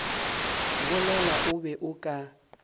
bolela o be o ka